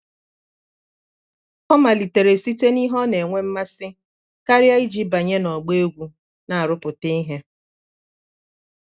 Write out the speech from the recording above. ọ malitere site n'ihe ọ na-enwe mmasị karịa iji banye n'ọgbọ egwu na-arụpụta ihe.